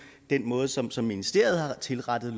måde som som ministeriet har tilrettet